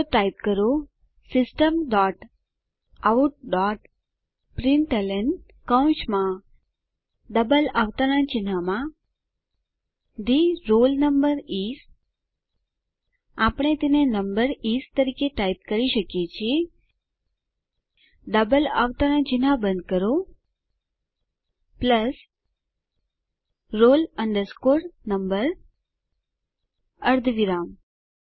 તો ટાઈપ કરો system dot out dot println કૌંસમાં ડબલ અવતરણ ચિહ્નમાં થે રોલ નંબર ઇસ આપણે તેને નંબર ઇસ તરીકે ટાઈપ કરી શકીએ છીએ ડબલ અવતરણ ચિહ્ન બંધ કરો પ્લસ roll number અર્ધવિરામ